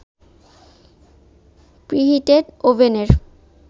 preheated ওভেনের